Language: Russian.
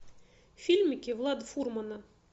фильмики влада фурмана